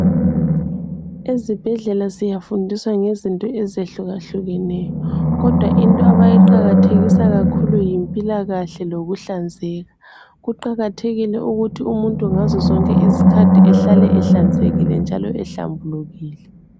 Ezibhedlela siyafundiswa ngezinto ezehlukahlukeneyo, kodwa into abayiqakathekisa kakhulu yimpilakahle lokuhlanzeka. Kuqakathekile ukuthi umuntu ngazo zonke izikhathi ehlale ehlanzekile njalo ehlambulukile.